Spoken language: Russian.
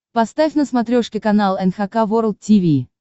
поставь на смотрешке канал эн эйч кей волд ти ви